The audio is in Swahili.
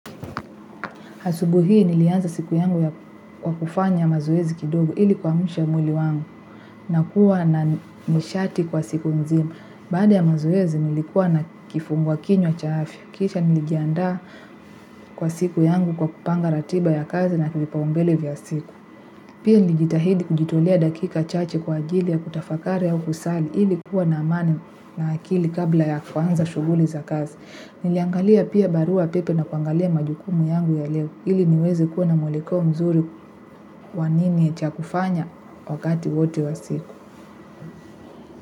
Asubuhi hii nilianza siku yangu kwa kufanya mazoezi kidogo ili kuamsha mwili wangu na kuwa na nishati kwa siku nzima baada ya mazoezi nilikuwa na kifungua kinywa cha afya. Kisha nilijiandaa kwa siku yangu kwa kupanga ratiba ya kazi na vipaumbele vya siku pia nilijitahidi kujitolea dakika chache kwa ajili ya kutafakari au kusali ili kuwa na amani na akili kabla ya kuanza shughuli za kazi. Niliangalia pia barua pepe na kuangalia majukumu yangu ya leo. Ili niweze kuwa na mwelekeo mzuri wa nini cha kufanya wakati wote wa siku.